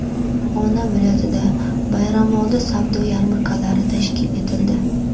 Farg‘ona viloyatida bayramoldi savdo yarmarkalari tashkil etildi.